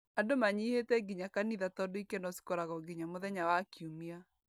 Andũ manyihĩte nginya kanitha tondũ ikeno cikoragwo nginya muthenya wa kiumia.